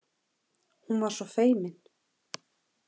Hún var svo feimin.